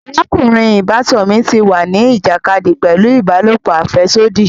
Arakunrin ìbátan mí tí wá ni ìjàkadì pẹlu ìbálòpọ̀ afẹsodi